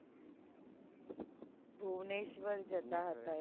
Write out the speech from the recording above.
ભુવનેશ્વર જતા હતા